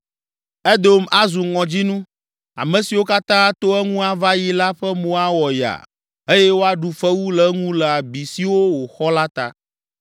“Edom azu ŋɔdzinu, ame siwo katã ato eŋu ava yi la ƒe mo awɔ yaa eye woaɖu fewu le eŋu le abi siwo wòxɔ la ta.